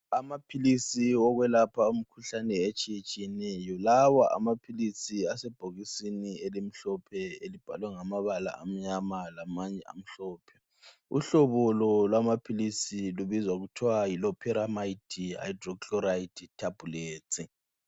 Amaphilisi okwelapha imikhuhlane etshiyetshiyeneyo lawa amaphilisi asebhokisini elimhlophe elibhalwe ngamabala amnyama lamanye amhlophe uhlobo lamaphilisi lubizwa ngokuthi aphoramayitsi hayidrochlora thabhuletsi